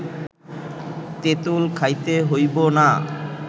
তেঁতুল খাইতে হইব না